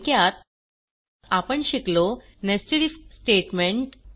थोडक्यात आपण शिकलो नेस्टेड आयएफ स्टेटमेंट